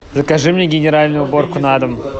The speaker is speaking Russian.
закажи мне генеральную уборку на дом